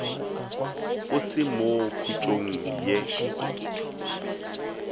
o se mo khutšong ye